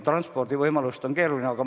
Transpordivõimalust leida on keeruline.